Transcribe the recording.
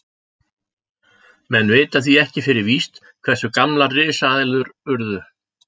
Menn vita því ekki fyrir víst hversu gamlar risaeðlur urðu.